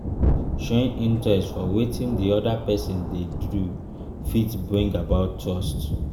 showing interest for wetin di oda person dey dey do fit bring about trust